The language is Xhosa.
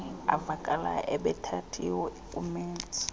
avakalayo ebethathiwe ngumenzi